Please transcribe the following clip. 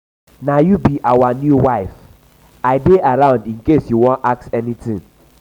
na you be our new wife?i dey around in case you wan ask anything